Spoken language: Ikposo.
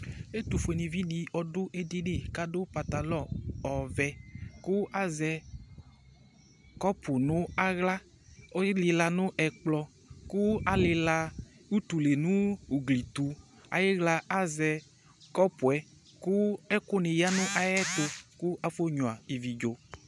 Ɛtʋfuenɩvi ɖɩ ɔɖʋ eɖini ƙʋ ta ɖʋ patalɔ ɔvɛ ƙʋ azɛ ƙɔpʋ nʋ aɣla, alɩla nʋ ɛƙplɔ; ƙʋ alɩla utule nʋ ugli tʋAƴɩɣla azɛ ƙɔpʋɛ ƙʋ ɛƙʋ nɩ ƴa nʋ aƴʋ ɛtʋ ,ƙʋ afʋ onƴua ivi ɖzo